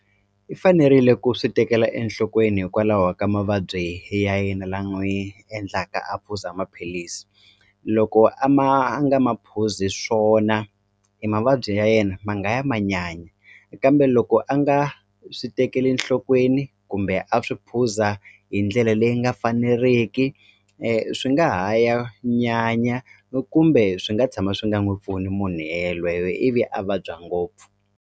I fanerile ku swi tekela enhlokweni hikwalaho ka mavabyi ya yena la n'wi endlaka a phuza maphilisi loko a ma nga ma phuzi swona e mavabyi ya yena ma nga ya ma nyanya kambe loko a nga swi tekeli enhlokweni kumbe a swi phuza hi ndlela leyi nga faneriki swi nga ha ya nyanya kumbe swi nga tshama swi nga n'wi pfuni munhu ye yelweyo ivi a vabya ngopfu.